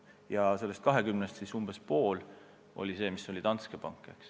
Ja sellest 20%-st umbes pool maksetest toimus Danske pangas.